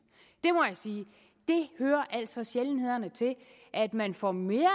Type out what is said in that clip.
det må jeg sige det hører altså til sjældenhederne at man får mere